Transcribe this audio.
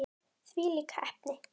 Þvílík heppni!